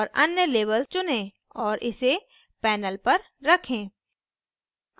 औऱ अन्य label चुनें और इसे panel पर रखें